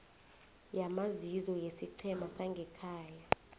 yamazizo yesiqhema sangekhaya